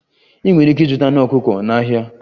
Ị nwere ike ịzụta anụ ọkụkọ na ahịa